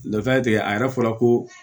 Dɔ ta tɛ a yɛrɛ fɔla ko